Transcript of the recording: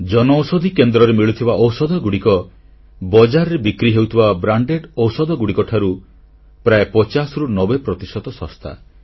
ଜନଔଷଧି କେନ୍ଦ୍ରରେ ମିଳୁଥିବା ଔଷଧଗୁଡ଼ିକ ବଜାରରେ ବିକ୍ରି ହେଉଥିବା ବିଭିନ୍ନ ବଡ ବଡ କମ୍ପାନୀର ବ୍ରାଣ୍ଡ ଔଷଧଗୁଡ଼ିକଠାରୁ ପ୍ରାୟ 50ରୁ90 ପ୍ରତିଶତ ଶସ୍ତା